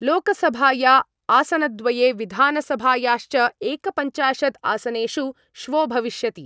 लोकसभाया आसनद्वये, विधानसभायाश्च एकपञ्चाशद् आसनेषु श्वो भविष्यति